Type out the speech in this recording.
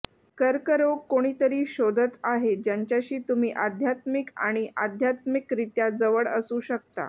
कर्करोग कोणीतरी शोधत आहे ज्यांच्याशी तुम्ही आध्यात्मिक आणि आध्यात्मिकरित्या जवळ असू शकता